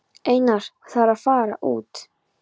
Einar: Það er að fara út.